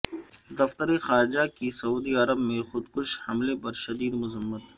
دفتر خارجہ کی سعودی عرب میں خود کش حملے پر شدید مذمت